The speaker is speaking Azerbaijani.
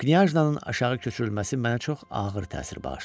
Knyajnanın aşağı köçürülməsi mənə çox ağır təsir bağışladı.